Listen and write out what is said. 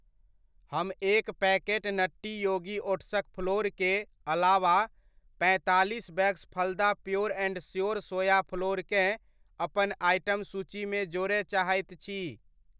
हम एक packet nutty yogi ओट्सक फ्लोर के अलावा पैंतालीस bags Phalada pure and sure soya flour केँ अपन आइटम सूचीमे जोड़य चाहैत छी।